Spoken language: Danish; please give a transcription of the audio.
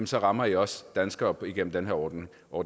så rammer i også danskere gennem den ordning og